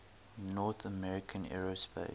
north american aerospace